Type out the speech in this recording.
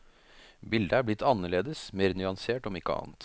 Bildet er blitt anderledes, mer nyansert om ikke annet.